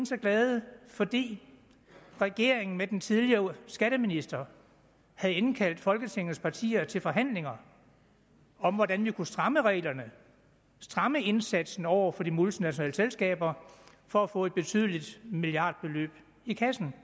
så glade fordi regeringen med den tidligere skatteminister havde indkaldt folketingets partier til forhandlinger om hvordan vi kunne stramme reglerne stramme indsatsen over for de multinationale selskaber for at få et betydeligt milliardbeløb i kassen